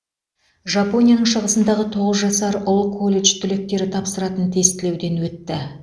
жапонияның шығысындағы тоғыз жасар ұл колледж түлектері тапсыратын тестілеуден өтті